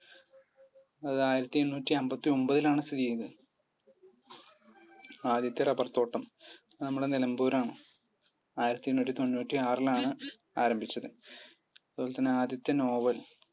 അത് ആയിരത്തിഎണ്ണൂറ്റി അൻപത്തി ഒൻപതിലാണ് ആണ് സ്ഥിതി ചെയ്യുന്നത് ആദ്യത്തെ rubber തോട്ടം? നമ്മുടെ നിലമ്പൂർ ആണ് ആയിരത്തി എണ്ണൂറ്റി തൊണ്ണൂറ്റി ആറിലാണ് ആരംഭിച്ചത് അതുപോലെതന്നെ ആദ്യത്തെ നോവൽ